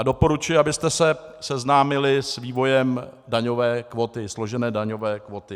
A doporučuji, abyste se seznámili s vývojem daňové kvóty, složené daňové kvóty.